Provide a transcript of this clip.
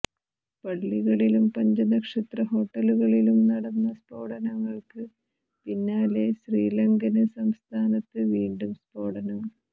പള്ളികളിലും പഞ്ചനക്ഷത്ര ഹോട്ടലുകളിലും നടന്ന സ്ഫോടനങ്ങള്ക്ക് പിന്നാലെ ശ്രീലങ്കന് തലസ്ഥാനത്ത് വീണ്ടും സ്ഫോടനം